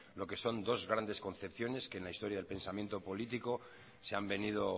lo que son dos grandes concepciones que en la historia del pensamiento político se han venido